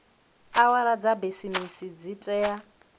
awara dza bisimisi dzi tea